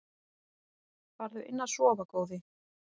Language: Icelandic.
Farðu inn að sofa góði.